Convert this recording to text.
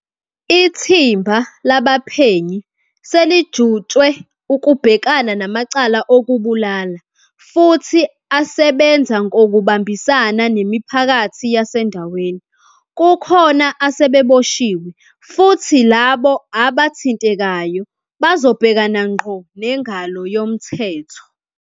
Ithimba labaphenyi selijutshwe ukubhekana namacala okubulala futhi asebenza ngokubambisana nemipha kathi yasendaweni. Kukhona asebeboshiwe futhi labo aba thintekayo bazobhekana ngqo nengalo yomthetho.